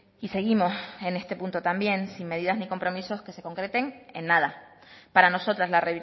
y seguimos en este punto también sin medidas ni compromisos que se concreten en nada para nosotras la